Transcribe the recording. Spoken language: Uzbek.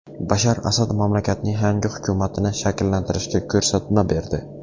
Bashar Asad mamlakatning yangi hukumatini shakllantirishga ko‘rsatma berdi.